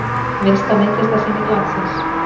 Minnsta myndlistarsýning landsins.